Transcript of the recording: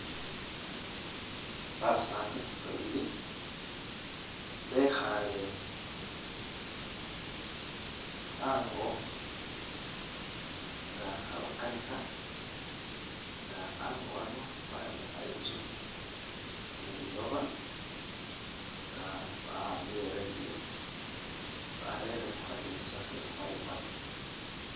Basaani babili bekhaale ango nga khebakanikha nga ango hano bayombekha inzu ni lilooba nga bahambile e'radio barele khukhadinisa khekhukhaayu khano.